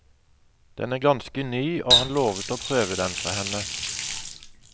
Den er ganske ny, og han lovet å prøve den for henne.